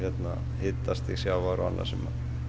hitastig sjávar og annað sem